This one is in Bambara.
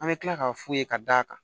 An bɛ tila k'a f'u ye ka d'a kan